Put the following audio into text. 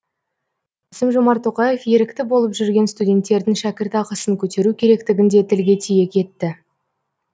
қасым жомарт тоқаев ерікті болып жүрген студенттердің шәкіртақысын көтеру керектігін де тілге тиек етті